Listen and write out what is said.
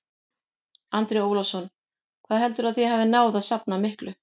Andri Ólafsson: Hvað heldurðu að þið hafið náð að safna miklu?